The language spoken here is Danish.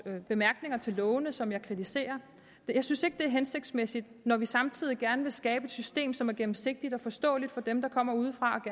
bemærkninger til lovene på som jeg kritiserer jeg synes ikke det er hensigtsmæssigt når vi samtidig gerne vil skabe et system som er gennemsigtigt og forståeligt for dem der kommer udefra